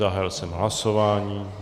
Zahájil jsem hlasování.